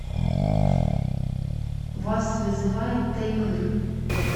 вас вызывает таймыр